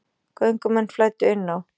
Göngumenn flæddu inn á